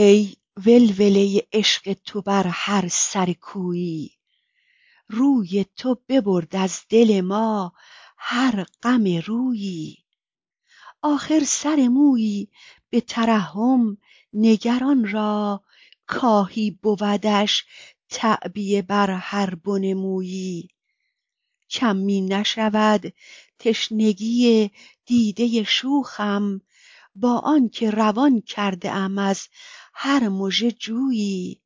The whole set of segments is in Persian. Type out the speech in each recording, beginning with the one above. ای ولوله عشق تو بر هر سر کویی روی تو ببرد از دل ما هر غم رویی آخر سر مویی به ترحم نگر آن را کآهی بودش تعبیه بر هر بن مویی کم می نشود تشنگی دیده شوخم با آن که روان کرده ام از هر مژه جویی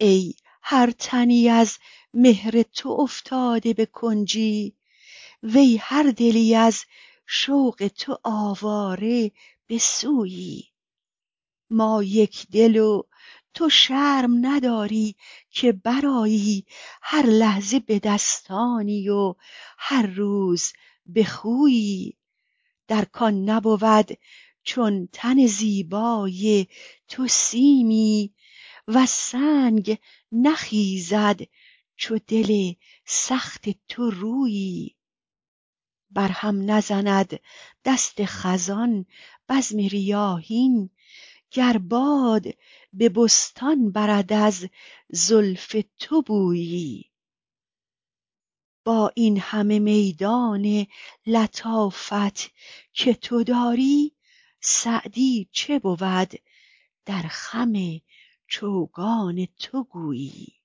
ای هر تنی از مهر تو افتاده به کنجی وی هر دلی از شوق تو آواره به سویی ما یکدل و تو شرم نداری که برآیی هر لحظه به دستانی و هر روز به خویی در کان نبود چون تن زیبای تو سیمی وز سنگ نخیزد چو دل سخت تو رویی بر هم نزند دست خزان بزم ریاحین گر باد به بستان برد از زلف تو بویی با این همه میدان لطافت که تو داری سعدی چه بود در خم چوگان تو گویی